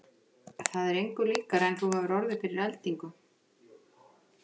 Það er engu líkara en að þú hafir orðið fyrir eldingu.